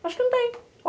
Acho que não tem.